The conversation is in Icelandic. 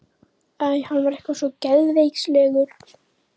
Æ, hann var eitthvað svo geðveikislegur.